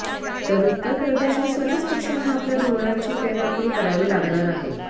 तर उत्तर प्रदेशात सर्वच पक्षांना आपल्या धोरणांची फेरआखणी करावी लागणार आहे